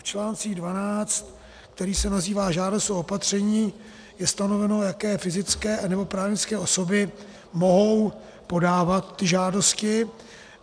V článku 12, který se nazývá Žádost o opatření, je stanoveno, jaké fyzické nebo právnické osoby mohou podávat ty žádosti.